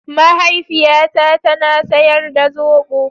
Mahaifiyata ta na sayar da zobo.